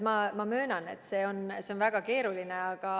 Ma möönan, et see on väga keeruline.